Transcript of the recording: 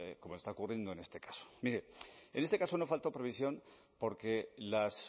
como está ocurriendo en este caso mire en este caso no faltó previsión porque las